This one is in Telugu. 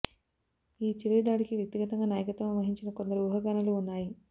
ఈ చివరి దాడికి వ్యక్తిగతంగా నాయకత్వం వహించిన కొందరు ఊహాగానాలు ఉన్నాయి